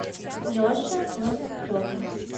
леше лоскутове